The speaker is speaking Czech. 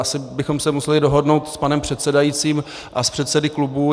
Asi bychom se museli dohodnout s panem předsedajícím a s předsedy klubů.